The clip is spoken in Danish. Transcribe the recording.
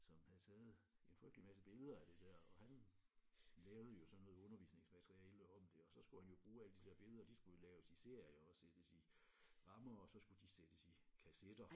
Som havde taget en frygtelig masse billeder af det der og han lavede jo sådan noget undervisningsmateriale om det og så skulle han jo bruge alle de der billeder de skulle jo laves i serier og sættes i rammer og så skulle de sættes i kassetter